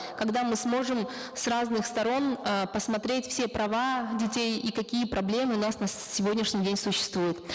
когда мы сможем с разных сторон э посмотреть все права детей и какие проблемы у нас на сегодняшний день существуют